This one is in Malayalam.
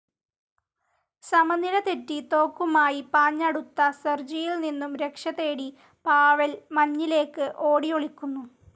സമനില തെറ്റി തോക്കുമായി പാഞ്ഞടുത്ത സെർജിയിൽ നിന്നും രക്ഷതേടി പാവെൽ മഞ്ഞിലേക്ക് ഓടിഒളിക്കുന്നു.